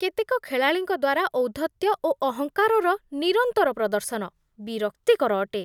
କେତେକ ଖେଳାଳିଙ୍କ ଦ୍ୱାରା ଔଦ୍ଧତ୍ୟ ଓ ଅହଙ୍କାରର ନିରନ୍ତର ପ୍ରଦର୍ଶନ ବିରକ୍ତିକର ଅଟେ।